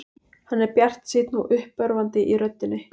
Hann er bjartsýnn og uppörvandi í röddinni.